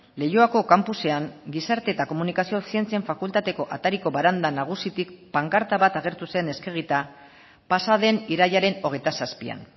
leioako kanpusean gizarte eta komunikazio zientzien fakultateko atariko baranda nagusitik pankarta bat agertu zen eskegita pasaden irailaren hogeita zazpian